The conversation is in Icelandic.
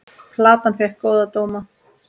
Platan fékk góða dóma.